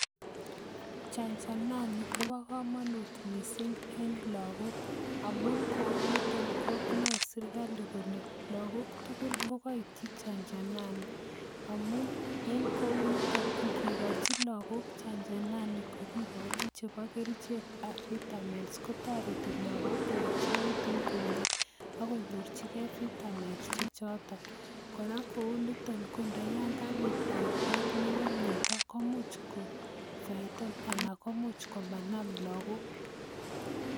Chanjanani, kobo komonut missing en lagok amun kouniton konae serikali kole lagok tugul kokaitchin chanjanani. Amun en kounitoni ingikochi lagok chanjanani kakikochi chebo kerichekab vitamins kotoreti lagok koechekitun komyee. Akonyorchikei vitamins che choton. Kora kouniton, kondayankabiit outbreak nebo myondo, komuch kofaitan anan komuch komanam lagok